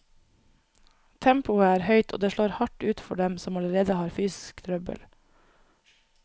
Tempoet er høyt, og det slår hardt ut for dem som allerede har fysisk trøbbel.